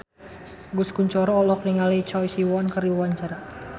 Agus Kuncoro olohok ningali Choi Siwon keur diwawancara